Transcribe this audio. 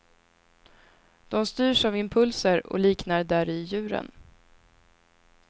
De styrs av impulser och liknar däri djuren.